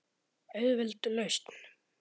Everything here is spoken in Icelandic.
Auðveld lausn.